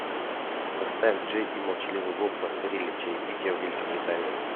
поставь джей и молчаливый боб постарели чаепитие в великобритании